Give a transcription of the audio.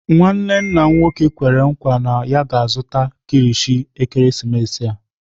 Nwanne m nwoke kwere nkwa na ya ga-azụta kilichi ekeresimesi a.